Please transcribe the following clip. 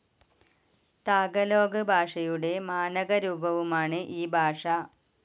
Tagalog ഭാഷയുടെ മാനകരൂപവുമാണ് ഈ ഭാഷ.